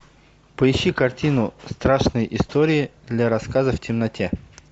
поищи картину страшные истории для рассказа в темноте